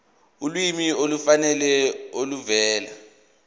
ulwazi olufanele oluvela